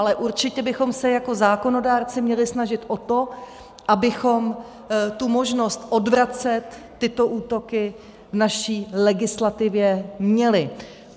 Ale určitě bychom se jako zákonodárci měli snažit o to, abychom tu možnost odvracet tyto útoky v naší legislativě měli.